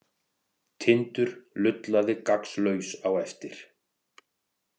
Tindur lullaði gagnslaus á eftir.